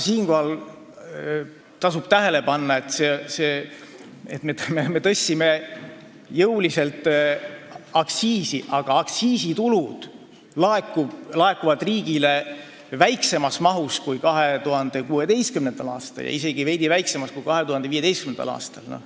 Siinkohal tasub tähele panna, et me küll tõstsime jõuliselt aktsiisi, aga aktsiisitulu laekub riigile väiksemas mahus kui 2016. aastal ja isegi veidi vähem kui 2015. aastal.